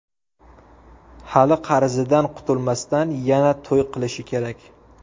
Hali qarzidan qutulmasdan, yana to‘y qilishi kerak.